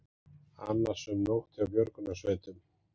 Annasöm nótt hjá björgunarsveitum